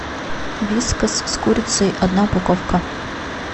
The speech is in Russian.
вискас с курицей одна упаковка